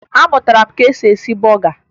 Amụtara m ka e si eme bọga